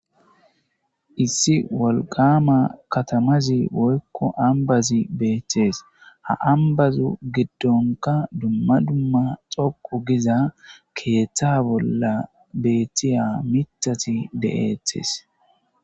Issi wolqama katamazi woykko ambazi beetees ha ambazu giddonka dumma dumma xoqu giza keeththa bolla beetiya mitati de'eetes.